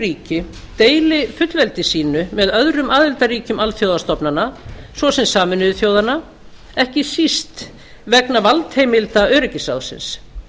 ríki deili fullveldi sínu með öðrum aðildarríkjum alþjóðastofnana svo sem sameinuðu þjóðanna ekki síst vegna valdheimilda öryggisráðsins